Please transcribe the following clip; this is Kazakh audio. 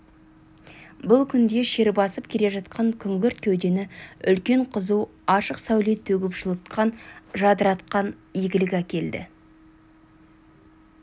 бұл күнде шер басып келе жатқан күңгірт кеудені үлкен қызу ашық сәуле төгіп жылытқан жадыратқан игілік әкелді